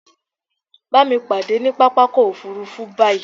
Bámi pàdé ní pápákọ̀ òfurufú báyí!